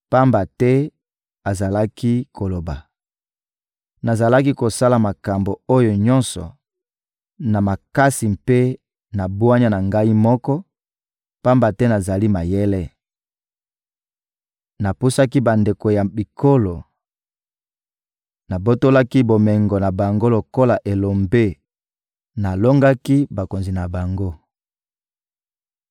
Pamba te azalaki koloba: ‹Nazalaki kosala makambo oyo nyonso na makasi mpe na bwanya na ngai moko, pamba te nazali mayele; napusaki bandelo ya bikolo, nabotolaki bomengo na bango lokola elombe, nalongaki bakonzi na bango.